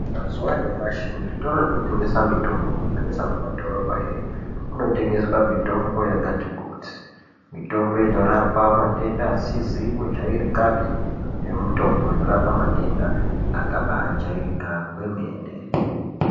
Mazuva anyamashi kuzvitoro zvinotengesa mitombo kunyanyisa mumadhorobhamwo imomo kunotengeswa mitombo yakati kuti mitombo inorapa matenda asizi kujairikapi nemitombo inorapa matenda akabajairika kwemene.